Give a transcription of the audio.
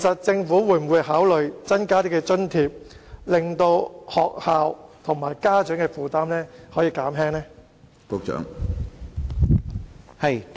政府會否考慮增加津貼，以減輕學校與家長的負擔？